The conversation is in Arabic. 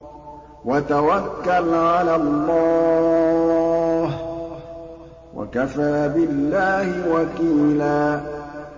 وَتَوَكَّلْ عَلَى اللَّهِ ۚ وَكَفَىٰ بِاللَّهِ وَكِيلًا